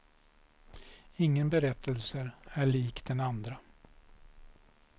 Ingen berättelse är lik den andra.